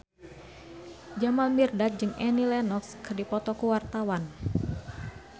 Jamal Mirdad jeung Annie Lenox keur dipoto ku wartawan